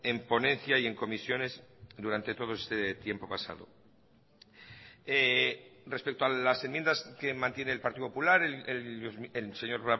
en ponencia y en comisiones durante todo este tiempo pasado respecto a las enmiendas que mantiene el partido popular el señor